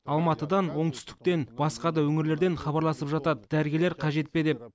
алматыдан оңтүстіктен басқа да өңірлерден хабарласып жатады дәрігерлер қажет пе деп